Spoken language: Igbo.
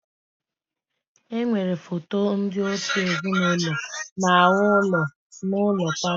Enwere foto ndị òtù ezinụlọ n'ahụ ụlọ n'ụlọ palọ.